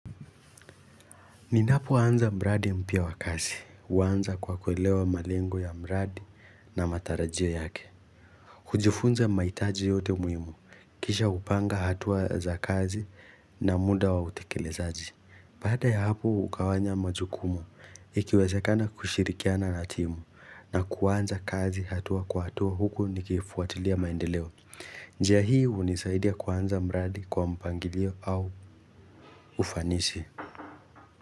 Ninapoanza mradi mpya wa kazi. Huanza kwa kuelewa malengo ya mradi na matarajio yake. Kujifunza mahitaji yote muhimu. Kisha hupanga hatua za kazi na muda wa utekelezaji. Bada ya hapo hugawanya majukumu. Ikiwezekana kushirikiana na timu na kuanza kazi hatua kwa hatua huku nikifuatilia maendeleo. Njia hii hunisaidia kuanza mradi kwa mpangilio au ufanisi.